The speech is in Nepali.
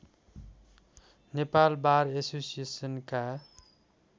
नेपाल वार एसोसिएसनका